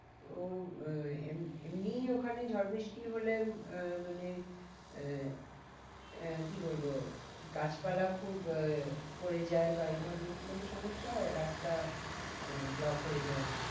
তো আহ এমনি ওখানে ঝড় বৃষ্টি হলে আহ মানে আহ আহ কি বলবো গাছ পালা খুব আহ পড়ে যায় বা এই ধরণের কি কোনো সমস্যা হয়? রাস্তা আহ block হয়ে যায়।